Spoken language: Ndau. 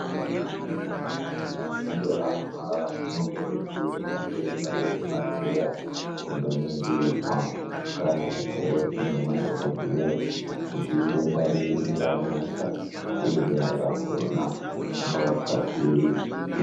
Kana muntu achinge arwara unokurudzirwa kuenda kuchibhadhleya kundoningirwa ndiana mukoti nemadhogodheya. Kuti idenda rii ranesa uye denda racho rinorapwa sei.